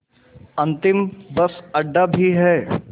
अंतिम बस अड्डा भी है